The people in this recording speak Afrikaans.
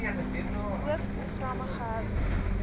boov programme gehou